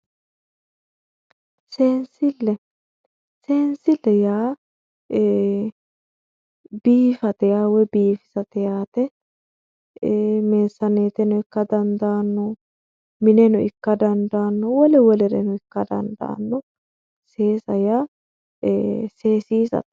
Seensile, seensile yaa ii'i biifate woyi biifisate yaate meesanettono ikka dandaano mineno ikka dandaano wole wolereno ikka dandaano seesa yaa seesissate.